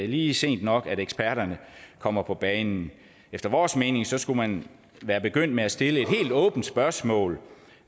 lige sent nok at eksperterne kommer på banen efter vores mening skulle man være begyndt med at stille et helt åbent spørgsmål